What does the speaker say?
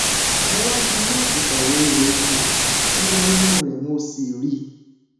mo wá fi iná àtùpà wo ihò imú rẹ ihò imú rẹ mo sì ríi